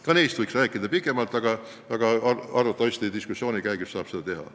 Ka neist võiks rääkida pikemalt, arvatavasti diskussiooni käigus saab seda teha.